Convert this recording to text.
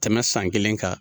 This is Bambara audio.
Tɛmɛ san kelen kan